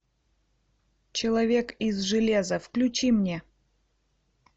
человек из железа включи мне